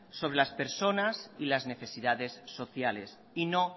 sobre las personas y las necesidades sociales y no